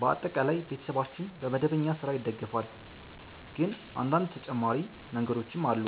በአጠቃላይ ቤተሰባችን በመደበኛ ሥራ ይደገፋል፣ ግን አንዳንድ ተጨማሪ መንገዶችም አሉ።